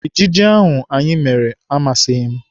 Ejije ahụ anyị mere amasịghị m.